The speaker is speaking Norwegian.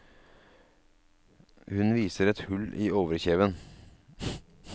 Hun viser et hull i overkjeven.